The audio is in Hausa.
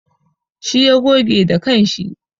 Shi ya goge da kanshi.